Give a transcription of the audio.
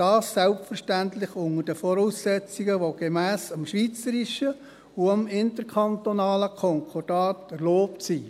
Dies selbstverständlich unter den Voraussetzungen, die gemäss dem schweizerischen und dem interkantonalen Konkordat erlaubt sind.